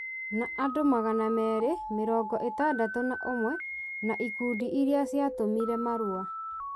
na andũ magana merĩ, mĩrongo ĩtandatũ na ũmwe, na ikundi iria ciatũmire marũa.